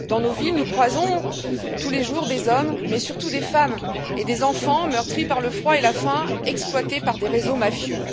Dans nos villes, nous croisons tous les jours des hommes, mais surtout, des femmes et des enfants meurtris par le froid et la faim, exploités par des réseaux mafieux.